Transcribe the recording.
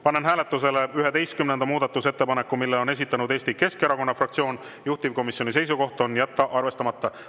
Panen hääletusele 11. muudatusettepaneku, mille on esitanud Eesti Keskerakonna fraktsioon, juhtivkomisjoni seisukoht on jätta arvestamata.